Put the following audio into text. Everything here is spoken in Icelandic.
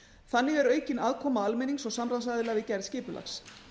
þannig er aukin aðkoma almennings og samráðsaðila við gerð skipulags